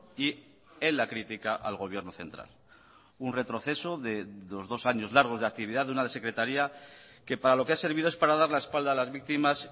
y en la crítica al gobierno central un retroceso de los dos años largos de actividad de una secretaría que para lo que ha servido es para dar la espalda a las víctimas